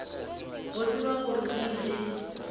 go tseba gore o ile